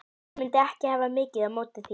Ég mundi ekki hafa mikið á móti því.